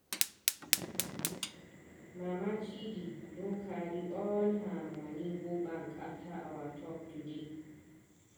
Mama Chidi don carry all her money go bank after our talk today.